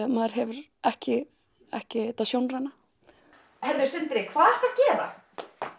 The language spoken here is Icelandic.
maður hefur ekki ekki þetta sjónræna heyrðu Sindri hvað ertu að gera